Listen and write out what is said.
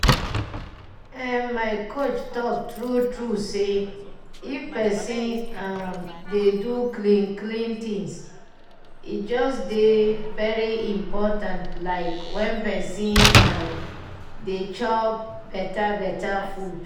eh my coach talk true true say if pesin um dey do clean clean things e just dey very important like when pesin um dey chop beta beta food um